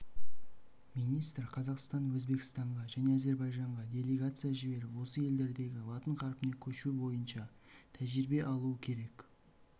министр қазақстан өзбекстанға және әзірбайжанға делегация жіберіп осы елдердегі латын қарпіне көшу бойынша тәжірибе алуы керек